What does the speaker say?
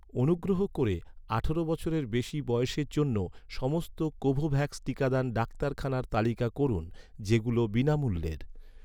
অনুগ্রহ করে আঠারো বছরের বেশি বয়সের জন্য, সমস্ত কোভোভ্যাক্স টিকাদান ডাক্তারখানার তালিকা করুন, যেগুলো বিনামূল্যের